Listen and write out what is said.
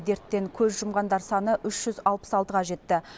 дерттен көз жұмғандар саны үш жүз алпыс алтыға жетті